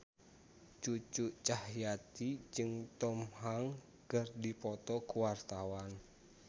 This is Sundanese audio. Cucu Cahyati jeung Tom Hanks keur dipoto ku wartawan